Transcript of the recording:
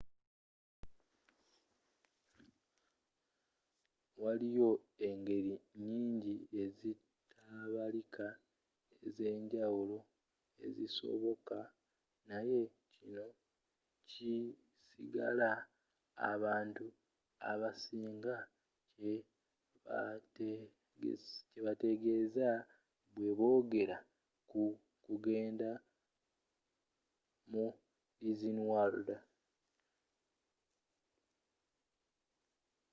waliyo engeri nyingi ezitabalika ez’enjawulo ezisoboka naye kino kisigala abantu abasinga kye bategeeza bwe boogera ku kugenda mu disney world